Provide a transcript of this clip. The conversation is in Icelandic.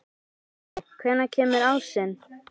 Lalli, hvenær kemur ásinn?